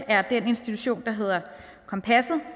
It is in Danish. er den institution der hedder kompasset